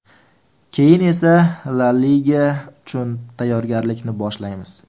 Keyin esa La liga uchun tayyorgarlikni boshlaymiz.